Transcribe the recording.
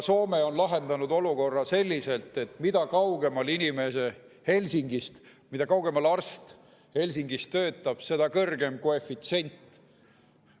Soome on lahendanud olukorra selliselt, et mida kaugemal arst Helsingist töötab, seda kõrgem on koefitsient.